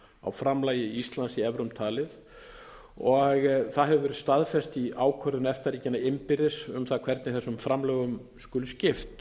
á framlagi íslands í evrum talið og það hefur verið staðfest í ákvörðun efta ríkjanna innbyrðis um hvernig þessum framlögum skuli skipt